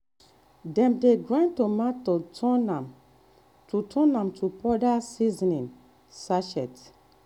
dem dey grind dry tomato turn am to am to powder for seasoning sachet.